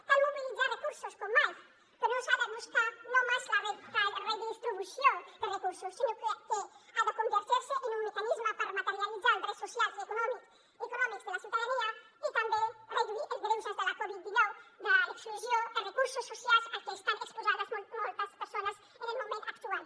cal mobilitzar recursos com mai però no s’ha de buscar només la redistribució de recursos sinó que ha de convertir se en un mecanisme per materialitzar els drets socials i econòmics de la ciutadania i també reduir els greuges de la covid dinou de l’exclusió de recursos socials al que estan exposades moltes persones en el moment actual